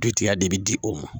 Dugutigiya de bi di o ma.